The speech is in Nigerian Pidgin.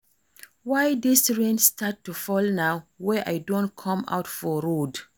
Why dis rain start to fall now wey I don come out for road